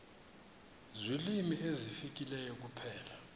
ziilwimi ezifileyo kuphela